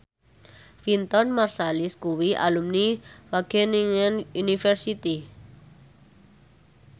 Wynton Marsalis kuwi alumni Wageningen University